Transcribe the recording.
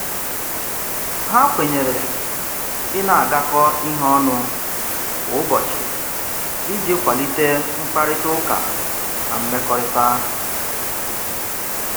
Ha kwenyere ị na-agakọ ihe ọnụ kwa ụbọchị iji kwalite mkparịtaụka na mmekọrịta.